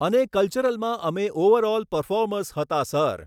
અને કલ્ચરલમાં અમે ઓવરઓલ પર્ફોમર્સ હતા સર.